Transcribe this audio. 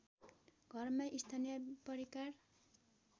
घरमै स्थानीय परिकार